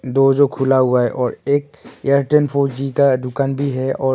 दो जो खुला हुआ है और एक एयरटेल फोर जी का दुकान भी है और--